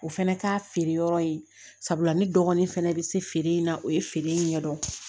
O fɛnɛ ka feere yɔrɔ ye sabula ne dɔgɔnin fɛnɛ bɛ se feere in na o ye feere in ɲɛdɔn